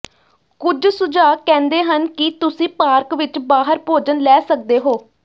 ਕੁਝ ਸੁਝਾਅ ਕਹਿੰਦੇ ਹਨ ਕਿ ਤੁਸੀਂ ਪਾਰਕ ਵਿਚ ਬਾਹਰ ਭੋਜਨ ਲੈ ਸਕਦੇ ਹੋ